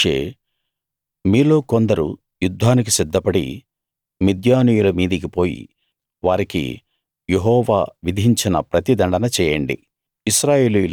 అప్పుడు మోషే మీలో కొందరు యుద్ధానికి సిద్ధపడి మిద్యానీయుల మీదికి పోయి వారికి యెహోవా విధించిన ప్రతిదండన చేయండి